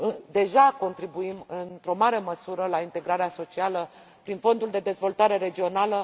că deja contribuim, într o mare măsură, la integrarea socială prin Fondul de dezvoltare regională.